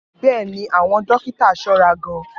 Bẹ́ẹ̀ ni, àwọn dókítà ṣọ́ra gan-an